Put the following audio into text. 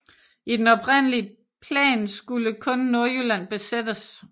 I den oprindelige plan skulle kun Nordjylland besættes